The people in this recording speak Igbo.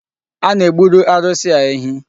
A na-egburu arụsị a ehi.